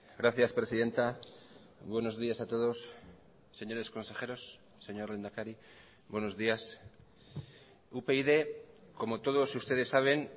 gracias presidenta buenos días a todos señores consejeros señor lehendakari buenos días upyd como todos ustedes saben